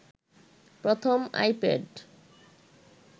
প্রথম আইপ্যাড